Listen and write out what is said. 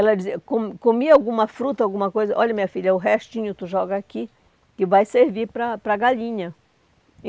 Ela dizia, co comia alguma fruta, alguma coisa, olha minha filha, o restinho tu joga aqui, que vai servir para para a galinha.